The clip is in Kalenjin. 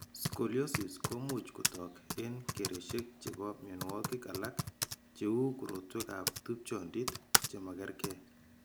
Scoliosis ko much kotok eng' kereshek chebo mianwogik alak, che u korotwekab tupchondit che magerge.